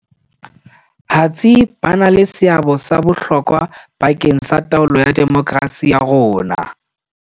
Hatsi ba na le seabo sa bohlokwa ba keng sa taolo ya demokrasi ya rona.